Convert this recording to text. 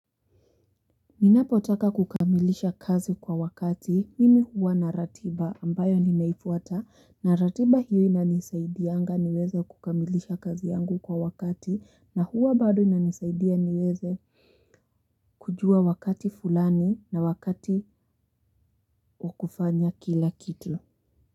Ninapotaka kukamilisha kazi kwa wakati mimi huwa na ratiba ambayo ninaifuata na ratiba hiyo inanisaidianga niweze kukamilisha kazi yangu kwa wakati na huwa bado inanisaidia niweze kujua wakati fulani na wakati wa kufanya kila kitu.